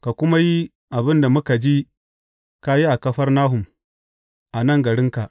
Ka kuma yi abin da muka ji ka yi a Kafarnahum, a nan garinka.’